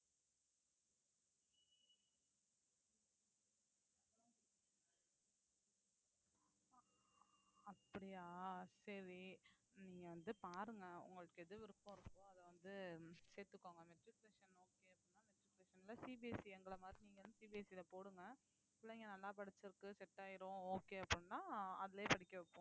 அப்படியா சரி நீங்க வந்து பாருங்க உங்களுக்கு எது விருப்பம் இருக்கோ அத வந்து சேர்த்துக்கோங்க matriculation ல சேர்க்கணும்னா CBSE எங்களை மாதிரி நீங்க வந்து CBSE ல போடுங்க பிள்ளைங்க நல்லா படிச்சிருக்கு set ஆயிரும் okay அப்படின்னா அதிலேயே படிக்க வைப்போம்